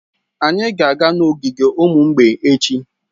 Anyị ga-aga n'ogige ụmụ mgbei echi.